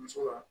Muso ka